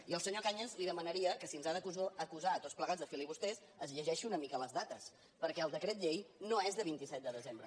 i al senyor cañas li demanaria que si ens ha d’acusar tots plegats de filibusters es llegeixi una mica les dates perquè el decret llei no és del vint set de desembre